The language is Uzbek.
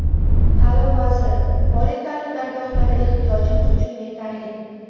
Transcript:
Ta’lim vaziri: Oliy ta’lim dargohlari ehtiyojimiz uchun yetarli.